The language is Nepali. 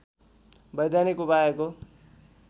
वैधानिक उपायको